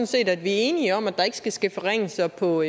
set at vi er enige om at der ikke skal ske forringelser på